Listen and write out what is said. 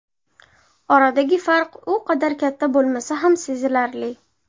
Oradagi farq u qadar katta bo‘lmasa ham sezilarli.